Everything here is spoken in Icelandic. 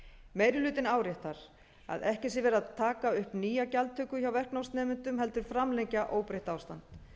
meiri hlutinn áréttar að ekki sé verið að taka upp nýja gjaldtöku hjá verknámsnemendum heldur framlengja óbreytt ástand